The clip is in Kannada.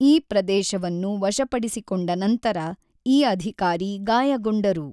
ಈ ಪ್ರದೇಶವನ್ನು ವಶಪಡಿಸಿಕೊಂಡ ನಂತರ ಈ ಅಧಿಕಾರಿ ಗಾಯಗೊಂಡರು.